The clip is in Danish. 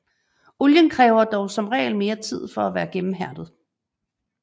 Olien kræver dog som regel mere tid for at være gennemhærdet